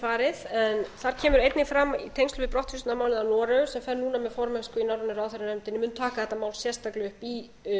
farið en þar kemur einnig fram í tengslum við brottvísunarmálið að noregur sem fer núna með formennsku í norrænu ráðherranefndinni mun taka þetta mál sérstaklega upp í